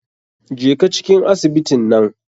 Jeka cikin asibitin nan.